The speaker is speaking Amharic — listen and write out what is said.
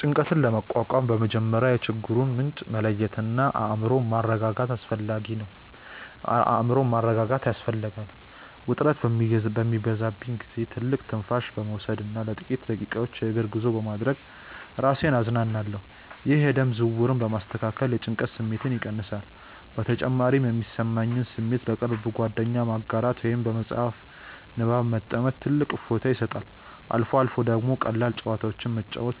ጭንቀትን ለመቋቋም በመጀመሪያ የችግሩን ምንጭ መለየትና አእምሮን ማረጋጋት ያስፈልጋል። ውጥረት በሚበዛብኝ ጊዜ ጥልቅ ትንፋሽ በመውሰድና ለጥቂት ደቂቃዎች የእግር ጉዞ በማድረግ ራሴን አዝናናለሁ። ይህ የደም ዝውውርን በማስተካከል የጭንቀት ስሜትን ይቀንሳል። በተጨማሪም የሚሰማኝን ስሜት ለቅርብ ጓደኛ ማጋራት ወይም በመጽሐፍ ንባብ መጥመድ ትልቅ እፎይታ ይሰጣል። አልፎ አልፎ ደግሞ ቀላል ጨዋታዎችን መጫወት